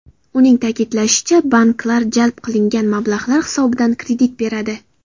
Uning ta’kidlashicha, banklar jalb qilingan mablag‘lar hisobidan kredit beradi.